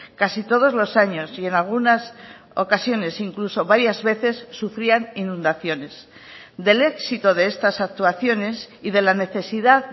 casi todos los años y en algunas ocasiones incluso varias veces sufrían inundaciones del éxito de estas actuaciones y de la necesidad